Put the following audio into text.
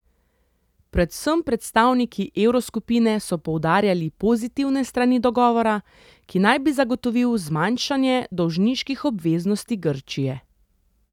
Predvsem predstavniki evroskupine so poudarjali pozitivne strani dogovora, ki naj bi zagotovil zmanjšanje dolžniških obveznosti Grčije.